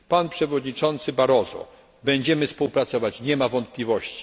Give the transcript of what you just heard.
Z panem przewodniczącym Barroso będziemy współpracować, nie ma wątpliwości.